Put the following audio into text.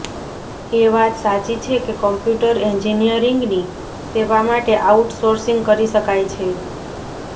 એ વાત સાચી છે કે કોમ્પ્યુટર એન્જિનીયરિંગની સેવા માટે આઉટસોર્સિગ કરી શકાય છે